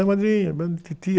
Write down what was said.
É madrinha, titia